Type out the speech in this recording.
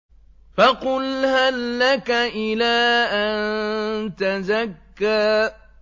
فَقُلْ هَل لَّكَ إِلَىٰ أَن تَزَكَّىٰ